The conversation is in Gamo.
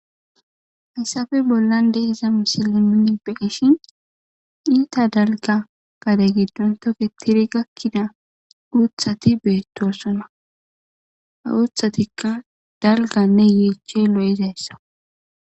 Haysape bolan diza missile nuni be'ishin ita dalga gade gidon toketiri gakida utati betosona ha utatika dalgane yechay lo'zaysaka.